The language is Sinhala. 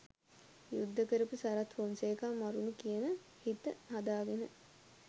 යුද්ද කරපු සරත් ෆොන්සේකා මරුන කියල හිත හදාගෙන